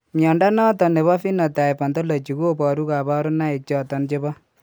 Mnyondo noton nebo Phenotype Ontology koboru kabarunaik choton chebo